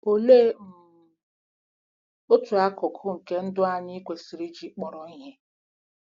Olee um otu akụkụ nke ndụ anyị kwesịrị iji kpọrọ ihe?